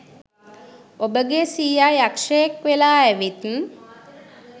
ඔබගේ සීයා යක්ෂයෙක් වෙලා ඇවිත්